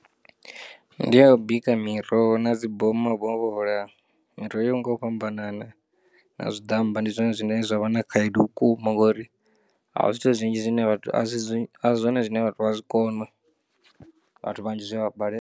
Ndi a u bika miroho na dzi bom vho hola miroho yo nga u fhambanana na zwiḓammba ndi zwone zwine zwa vha na khaedu vhukuma ngori a ho zwithu zwinzhi zwine a zwi a zwone zwine vhathu vha zwikona vhathu vhanzhi zwi a vha balela.